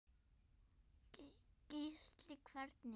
Gísli: Hvernig?